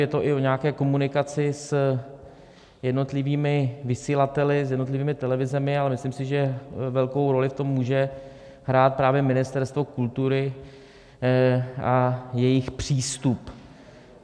Je to i o nějaké komunikaci s jednotlivými vysílateli, s jednotlivými televizemi, ale myslím si, že velkou roli v tom může hrát právě Ministerstvo kultury a jejich přístup.